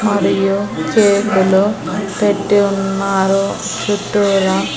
మరియు చేతులు పెట్టి ఉన్నారు చుట్టూరా.